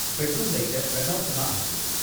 bedroom லைட்ட பிரகாசமா ஆக்கு